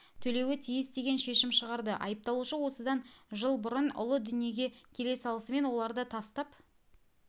төлеуі тиіс деген шешім шығарды айыпталушы осыдан жыл бұрын ұлы дүниеге келе салысымен оларды тастап